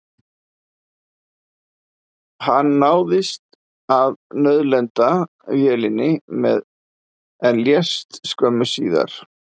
Hann náði að nauðlenda vélinni en lést skömmu síðar.